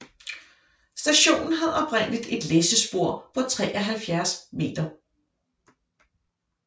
Stationen havde oprindeligt et læssespor på 73 m